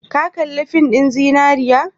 Ka kalli fin ɗin zinariya?